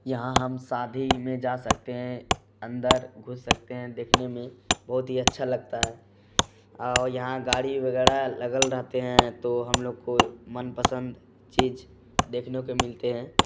यहाँ हम शादी में जा सकते हैं अंदर घुस सकते हैं देखने में बोहोत ही अच्छा लगता है आओ यहाँ गाड़ी वगैरह लगल रहते हैं तो हम लोग को मनपसंद चीज देखने को मिलते हैं